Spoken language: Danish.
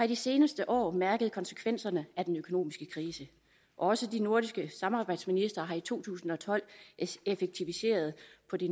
de seneste år mærket konsekvenserne af den økonomiske krise også de nordiske samarbejdsministre har i to tusind og tolv effektiviseret